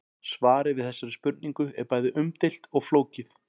Svarið við þessari spurningu er bæði umdeilt og flókið.